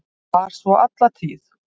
Var svo alla tíð.